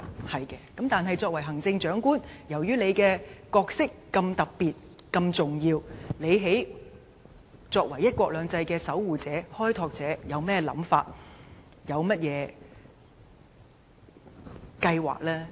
她說得對，但由於行政長官的角色如此特別和重要，作為"一國兩制"的守護者和開拓者，她有何想法和計劃呢？